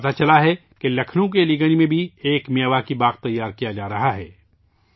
مجھے معلوم ہوا ہے کہ لکھنؤ کے علی گنج میں بھی میاواکی پارک تیار کیا جا رہا ہے